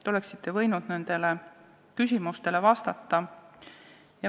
Te oleksite võinud nendele küsimustele vastata.